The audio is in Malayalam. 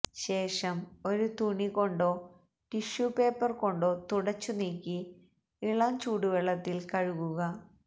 ശേഷം ഒരു തുണി കൊണ്ടോ ടിഷ്യൂ പേപ്പര് കൊണ്ടോ തുടച്ചു നീക്കി ഇളം ചൂടുവെള്ളത്തില് കഴുകുക